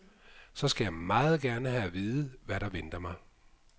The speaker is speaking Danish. Så skal jeg meget gerne have at vide, hvad der venter mig.